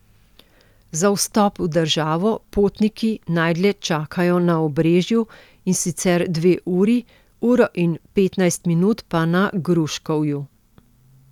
Za vstop v državo potniki najdlje čakajo na Obrežju, in sicer dve uri, uro in petnajst minut pa na Gruškovju.